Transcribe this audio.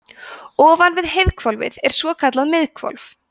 ofan við heiðhvolfið er svokallað miðhvolf